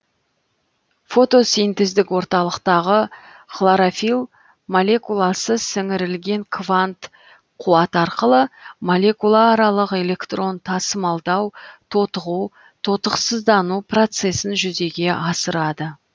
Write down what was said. фотосинтездік орталықтағы хлорофилл молекуласы сіңірілген квант қуат арқылы молекулааралық электрон тасымалдау тотығу тотықсыздану процесін жүзеге асырады